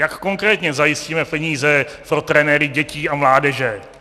Jak konkrétně zajistíme peníze pro trenéry dětí a mládeže?